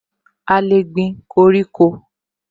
A lè gbin koríko